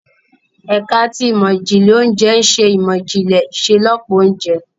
Ẹka ti Imọ-jinlẹ Ounjẹ ǹ ṣe imọ-jinlẹ iṣelọpọ ounjẹ